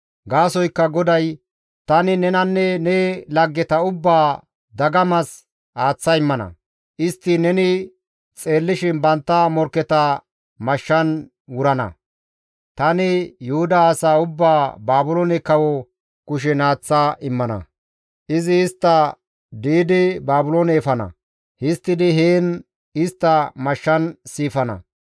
Gaasoykka GODAY, ‹Tani nenanne ne laggeta ubbaa dagamas aaththa immana; istti neni xeellishin bantta morkketa mashshan wurana; tani Yuhuda asaa ubbaa Baabiloone kawo kushen aaththa immana; izi istta di7idi Baabiloone efana; histtidi heen istta mashshan siifana.